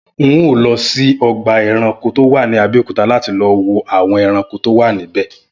N óò lọ sí ọgbà ẹranko tó wà ní Abẹ́òkúta láti lọ wo àwọn ẹranko tó wà níbẹ̀